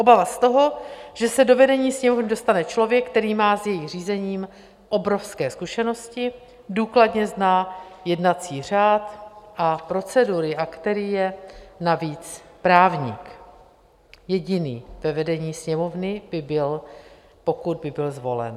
Obava z toho, že se do vedení Sněmovny dostane člověk, který má s jejím řízením obrovské zkušenosti, důkladně zná jednací řád a procedury a který je navíc právník - jediný ve vedení Sněmovny by byl, pokud by byl zvolen.